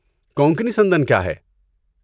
کونکنی سندن کیا ہے؟